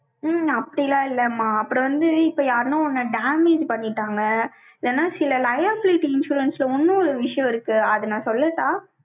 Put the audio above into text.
உம் அப்படி எல்லாம் இல்லைம்மா. அப்புறம் வந்து, இப்ப யாருன்னா, உன்னை damage பண்ணிட்டாங்க சில liability insurance ல, இன்னொரு விஷயம் இருக்கு. அதை, நான் சொல்லட்டா?